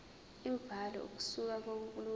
imibhalo ukusuka kolunye